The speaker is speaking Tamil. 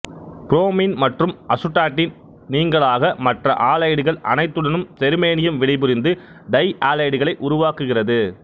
புரோமின் மற்றும் அசுடாட்டின் நீங்கலாக மற்ற ஆலைடுகள் அனைத்துடனும் செருமேனியம் வினைபுரிந்து டை ஆலைடுகளை உருவாக்குகிறது